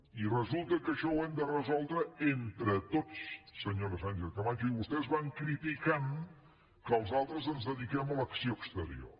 i resulta que això ho hem de resoldre entre tots senyora sánchez camacho i vostès van criticant que els altres ens dediquem a l’acció exterior